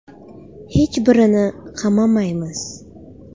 Hech birini qamamaymiz.